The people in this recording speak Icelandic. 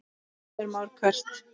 Heimir Már: Hvert?